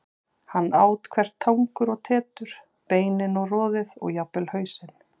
Hann át hvert tangur og tetur, beinin og roðið og jafnvel hausinn.